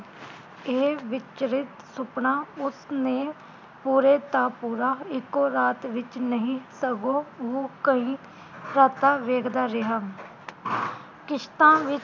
ਇਹ ਵਿਚਲਰਿਤ ਸੁਪਨਾ ਉਸਨੇ ਪੂਰੇ ਦਾ ਪੂਰਾ ਇਕੋ ਰਾਤ ਵਿਚ ਨਹੀਂ ਸਗੋਂ ਉਹ ਕਈ ਰਾਤਾਂ ਵੇਖਦਾ ਰਿਹਾ ਕਿਸ਼ਤਾਂ ਵਿੱਚ